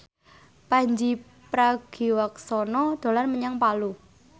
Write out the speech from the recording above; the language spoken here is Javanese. Pandji Pragiwaksono dolan menyang Palu